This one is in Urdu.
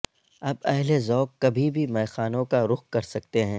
اب اہل ذوق کبھی بھی میخانون کا رخ کر سکتے ہیں